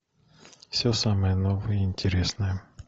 все самое новое и интересное